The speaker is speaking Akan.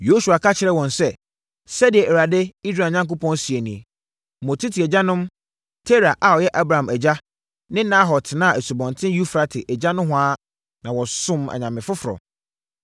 Yosua ka kyerɛɛ wɔn sɛ, “Sɛdeɛ Awurade, Israel Onyankopɔn seɛ nie: Mo tete agyanom, Tera a ɔyɛ Abraham agya ne Nahor tenaa Asubɔnten Eufrate agya nohoa na wɔsomm anyame foforɔ.